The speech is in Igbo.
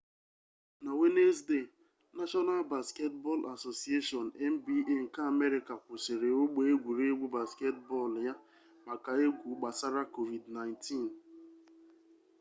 na wenezdee nashọnal basketbọl asosieshọn nba nke amerịka kwụsịrị ogbe egwuregwu basketbọl ya maka egwu gbasara covid-19